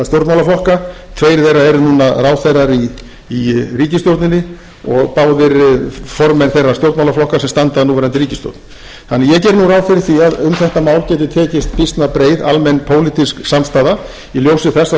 stjórnmálaflokka tveir þeirra eru núna ráðherrar í ríkisstjórninni og báðir formenn þeirra stjórnmálaflokka sem standa að núverandi ríkisstjórn þannig að ég geri nú ráð fyrir því að um þetta mál geti tekist býsna breið almenn pólitísk samstaða í ljósi þess að